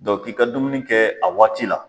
Dɔn k'i ka dumuni kɛ a waati la